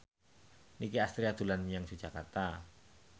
Nicky Astria dolan menyang Yogyakarta